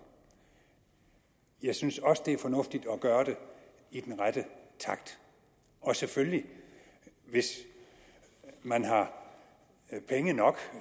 jeg synes også det er fornuftigt at gøre det i den rette takt og selvfølgelig hvis man har penge nok